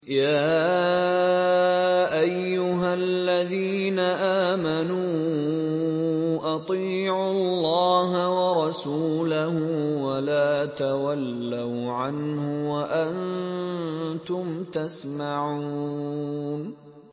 يَا أَيُّهَا الَّذِينَ آمَنُوا أَطِيعُوا اللَّهَ وَرَسُولَهُ وَلَا تَوَلَّوْا عَنْهُ وَأَنتُمْ تَسْمَعُونَ